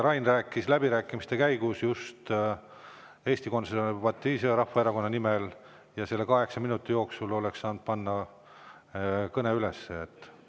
Rain rääkis läbirääkimiste käigus Eesti Konservatiivse Rahvaerakonna nimel ja selle kaheksa minuti jooksul oleksite saanud panna kõne üles.